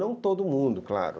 Não todo mundo, claro.